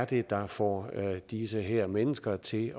det er der får de her mennesker til